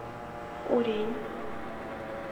урень